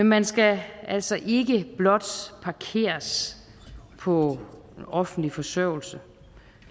man skal altså ikke blot parkeres på offentlig forsørgelse